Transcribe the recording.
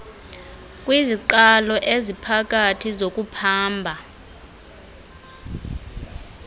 kwiziqalo eziphakathi zokuphamba